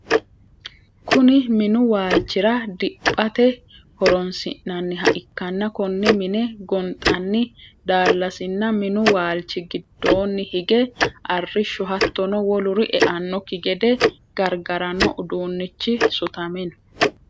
Kunni muni waalchira diphate horoonsi'nanniha ikanna konne minne gonxanni daalasinna minnu waalchi gidoonni hige arisho hattono woluri e'anoki gede gargarano uduunichi sutame no.